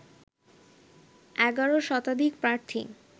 ১১ শতাধিক প্রার্থী